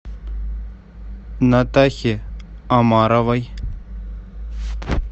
натахе омаровой